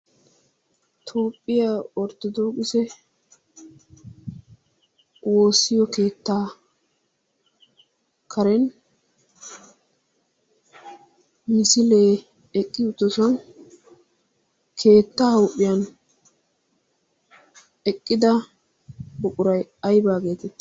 toophphiyaa orttodokise woossiyo keettaa karen misilee eqqi uttosuan keettaa huuphiyan eqqida buquray aybaageete?